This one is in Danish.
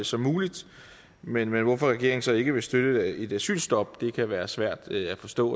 som muligt men hvorfor regeringen så ikke vil støtte et asylstop kan være svært at forstå